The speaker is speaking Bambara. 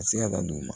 A se ka da dugu ma